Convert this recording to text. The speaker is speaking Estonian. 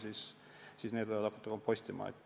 Need inimesed võivad hakata kompostima.